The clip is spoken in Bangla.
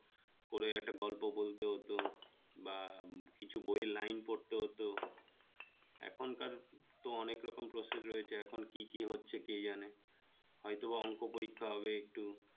করে একটা গল্প বলতে হতো বা কিছু বইয়ের line পড়তে হতো এখনকার তো অনেক রকম process রয়েছে এখন কি কি হচ্ছে কে জানে হয়তোবা অংক পরীক্ষা হবে একটু